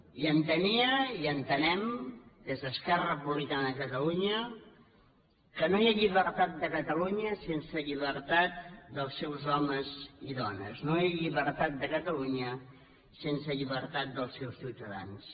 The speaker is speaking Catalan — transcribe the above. i entenia i ho entenem des d’esquerra republicana que no hi ha llibertat de catalunya sense llibertat dels seus homes i dones no hi ha llibertat de catalunya sense llibertat dels seus ciutadans